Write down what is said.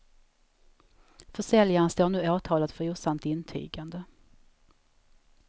Försäljaren står nu åtalad för osant intygande.